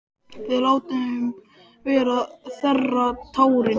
Við létum vera að þerra tárin.